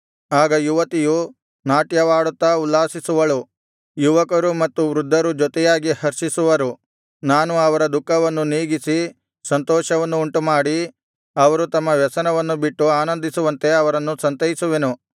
ಆಗ ಯುವತಿಯು ನಾಟ್ಯವಾಡುತ್ತಾ ಉಲ್ಲಾಸಿಸುವಳು ಯುವಕರು ಮತ್ತು ವೃದ್ಧರು ಜೊತೆಯಾಗಿ ಹರ್ಷಿಸುವರು ನಾನು ಅವರ ದುಃಖವನ್ನು ನೀಗಿಸಿ ಸಂತೋಷವನ್ನು ಉಂಟುಮಾಡಿ ಅವರು ತಮ್ಮ ವ್ಯಸನವನ್ನು ಬಿಟ್ಟು ಆನಂದಿಸುವಂತೆ ಅವರನ್ನು ಸಂತೈಸುವೆನು